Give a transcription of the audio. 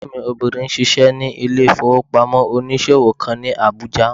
Ẹ̀gbọ́n mi obìnrin n ṣiṣẹ́ ní ilé-ìfowópamọ́sí onísòwò kan ní Àbújá